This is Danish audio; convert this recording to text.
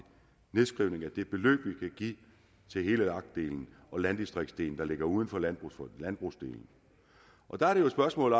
nedskrivning af det beløb vi kan give til hele lag delen og landdistriktsdelen der ligger uden for landbrugsdelen der er det jo et spørgsmål